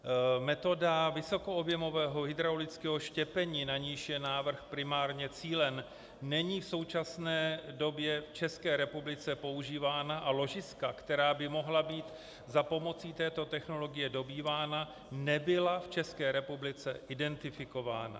Metoda vysokoobjemového hydraulického štěpení, na niž je návrh primárně cílen, není v současné době v České republice používána a ložiska, která by mohla být za pomoci této technologie dobývána, nebyla v České republice identifikována.